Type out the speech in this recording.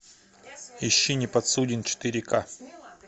ищи неподсуден четыре ка